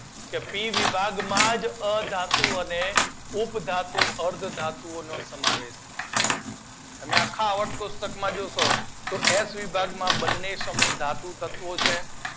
જેથી પી વિભાગમાં જ અધાતુઓ અને ઉપધાતુઓ નો સમાવેશ થાય છે. તમે આખા આવર્તક કોષ્ટક માં જોજો તો એફ વિભાગ માં બંને સમૂહદાય ધાતુ તત્વો છે.